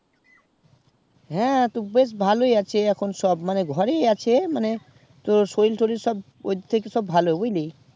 হ্যাঁ তো ভালোই আছে সব ঘরেই আছে মানে সরিল টরিলসব ভালো বুজলি